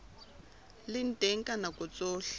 le teng ka nako tsohle